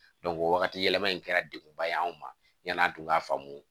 o wagati yɛlɛma in kɛra degunba ye anw ma yan'an tun ka faamu